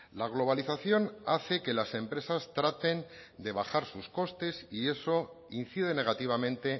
la globalización hace que las empresas traten de bajar sus costes y eso incide negativamente